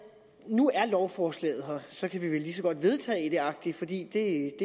nu er lovforslaget her og så kan vi vel lige så godt vedtage det agtigt fordi det